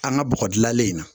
An ka bɔgɔ dilanlen in na